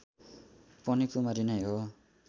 पनि कुमारी नै हो